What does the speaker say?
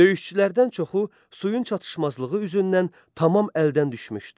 Döyüşçülərdən çoxu suyun çatışmazlığı üzündən tamam əldən düşmüşdü.